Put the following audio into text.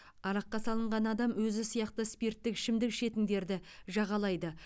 араққа салынған адам өзі сияқты спирттік ішімдік ішетіндерді жағалайды